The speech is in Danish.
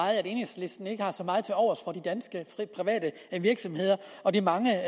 at enhedslisten ikke har så meget tilovers for de danske private virksomheder og de mange